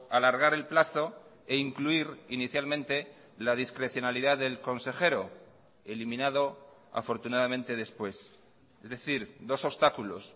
alargar el plazo e incluir inicialmente la discrecionalidad del consejero eliminado afortunadamente después es decir dos obstáculos